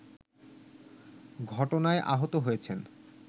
ঘটনায় আহত হয়েছেন